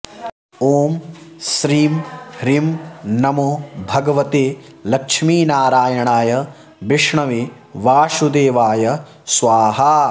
ॐ श्रीं ह्रीं नमो भगवते लक्ष्मीनारायणाय विष्णवे वासुदेवाय स्वाहा